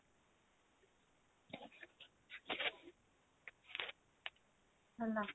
ହେଲା